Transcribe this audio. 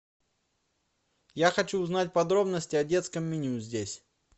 я хочу узнать подробности о детском меню здесь